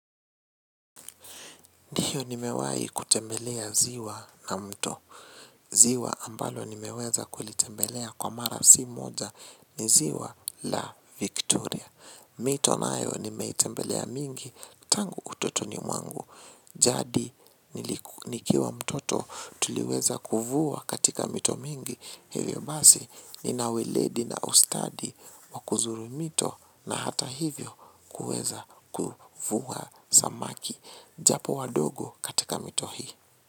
Ndiyo nimewai kutembelea ziwa na mto. Ziwa ambalo nimeweza kulitembelea kwa mara si moja ni ziwa la Victoria. Mito nayo nimeitembelea mingi tangu utotoni mwangu. Jadi nikiwa mtoto tuliweza kuvua katika mito mingi hivyo basi nina uwiledi na ustadi wa kuzuru mito na hata hivyo kuvua samaki. Japo wadogo katika mito hii.